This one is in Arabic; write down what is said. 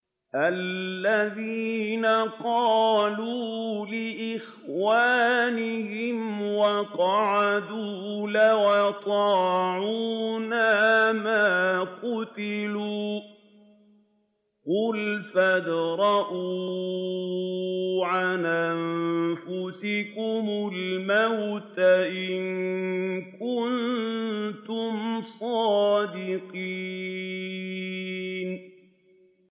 الَّذِينَ قَالُوا لِإِخْوَانِهِمْ وَقَعَدُوا لَوْ أَطَاعُونَا مَا قُتِلُوا ۗ قُلْ فَادْرَءُوا عَنْ أَنفُسِكُمُ الْمَوْتَ إِن كُنتُمْ صَادِقِينَ